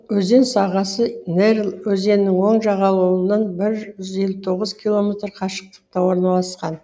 өзен сағасы нерль өзенінің оң жағалауынан бір жүз елу тоғыз километр қашықтықта орналасқан